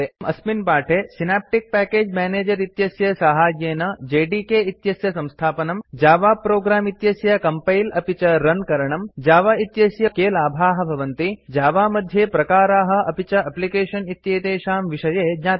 एवं च वयं अस्मिन् पाठे सिनाप्टिक पेकेज मेनेजर इत्यस्य साहाय्येन जेडीके इत्यस्य संस्थापनम् जावा प्रोग्राम इत्यस्य कम्पैल अपि च रन करणम् जावा इत्यस्य उपयोगेन के लाभाः भवन्ति जावा मध्ये प्रकाराः अपि च एप्लिकेशन् इत्येतेषां विषये ज्ञातवन्तः